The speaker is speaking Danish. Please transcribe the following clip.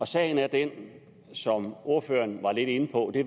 sagen er den som ordføreren var lidt inde på at